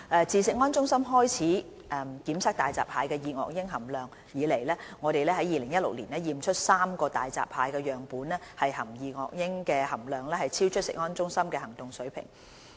自食安中心開始檢測大閘蟹的二噁英含量以來，我們於2016年檢出3個大閘蟹樣本二噁英含量超出食安中心的行動水平。